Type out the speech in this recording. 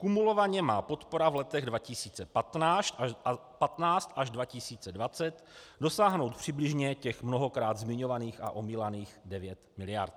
Kumulovaně má podpora v letech 2015 až 2020 dosáhnout přibližně těch mnohokrát zmiňovaných a omílaných 9 miliard.